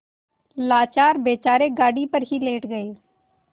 लाचार बेचारे गाड़ी पर ही लेट गये